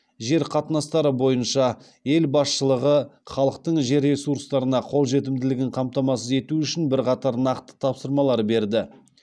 жер қатынастары бойынша ел басшылығы халықтың жер ресурстарына қолжетімділігін қамтамасыз ету үшін бірқатар нақты тапсырмалар берді